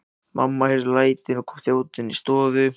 Mamma heyrði lætin og kom þjótandi inn í stofu.